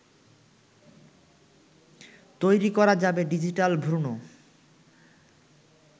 তৈরি করা যাবে ডিজিটাল ভ্রুণ